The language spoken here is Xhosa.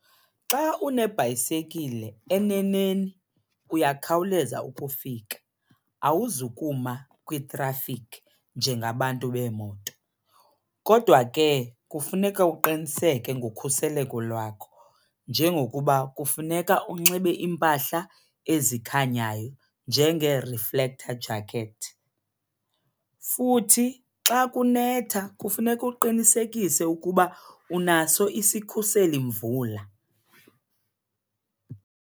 Xa unebhayisekile eneneni uyakhawuleza ukufika, awuzukutsha kwitrafikhi njengabantu beemoto. Kodwa ke kufuneka uqiniseke ngokhuseleko lwakho, njengokuba kufuneka unxibe iimpahla ezikhanyayo njengee-reflector jacket. Futhi xa kunetha kufuneka uqinisekise ukuba unaso isikhuseli mvula.